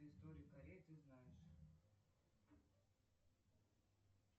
историю кореи ты знаешь